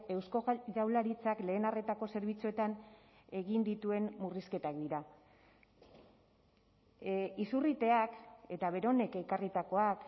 eusko jaurlaritzak lehen arretako zerbitzuetan egin dituen murrizketak dira izurriteak eta beronek ekarritakoak